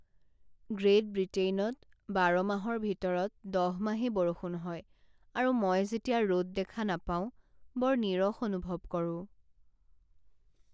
Great বৃটেইনত বাৰ মাহৰ ভিতৰত দহ মাহেই বৰষুণ হয় আৰু মই যেতিয়া ৰ'দ দেখা নাপাওঁ বৰ নীৰস অনুভৱ কৰোঁ।